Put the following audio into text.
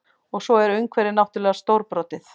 Og svo er umhverfið náttúrlega stórbrotið